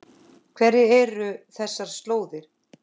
Hverjar eru þessar slóðir?